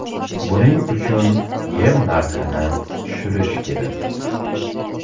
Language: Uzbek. Buning uchun yem narxini tushirish kerak.